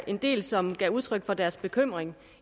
en del som gav udtryk for deres bekymring